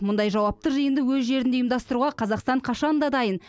мұндай жауапты жиынды өз жерінде ұйымдастыруға қазақстан қашан да дайын